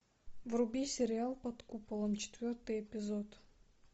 вруби сериал под куполом четвертый эпизод